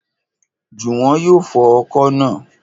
Jùwọ́n yóò fọ ọkọ̀ naa